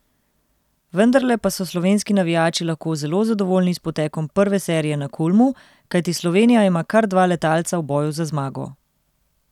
Vendarle pa so slovenski navijači lahko zelo zadovoljni s potekom prve serije na Kulmu, kajti Slovenija ima kar dva letalca v boju za zmago!